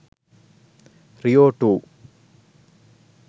rio 2